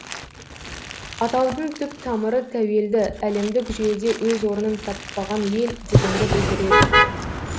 атаудың түп тамыры тәуелді әлемдік жүйеде өз орнын таппаған ел дегенді білдіреді